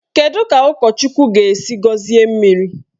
Kedụ ka ụkọchukwu ga-esi gọzie mmiri?